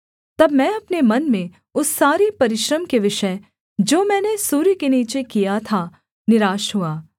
तब मैं अपने मन में उस सारे परिश्रम के विषय जो मैंने सूर्य के नीचे किया था निराश हुआ